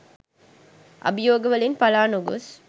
අභියෝග වලින් පළා නොගොස්